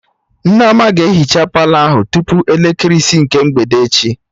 Nneoma ga-ehicha Palọ ahụ tupu elekere isi nke mgbede echi